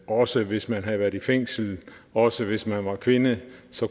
også hvis man havde været i fængsel og også hvis man var kvinde